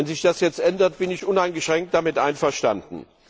Wenn sich das jetzt ändert, bin ich uneingeschränkt damit einverstanden.